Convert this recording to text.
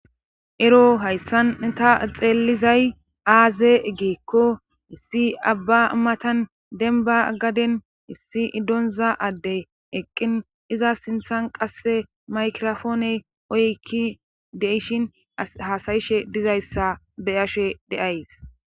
ero hayssanta xeelizay aaze geekko issi abba matan denba gaden issi idonza addey eqqin iza sinthan qasse maykrofooney oykki deishin hasayishe dizayssa beyashe deays